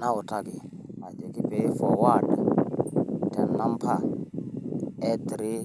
Nautaki ajoki pee i forward tenamba e three,